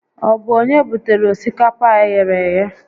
Ọ bụ onye butere osikapa a eghere eghe?